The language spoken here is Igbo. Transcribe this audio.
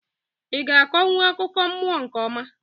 I ga-akonwu akụkọ mmụọ nke ọma?